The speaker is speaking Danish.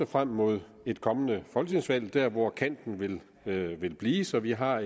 frem mod et kommende folketingsvalg vel der hvor kanten vil vil blive så vi har